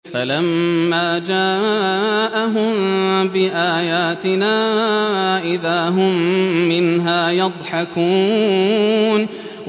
فَلَمَّا جَاءَهُم بِآيَاتِنَا إِذَا هُم مِّنْهَا يَضْحَكُونَ